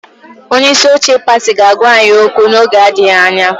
Onye isi oche pati ga-agwa anyị okwu n'oge adịghị anya.